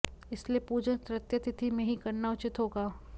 इसलिए पूजन तृतीया तिथी में ही करना उचित होगा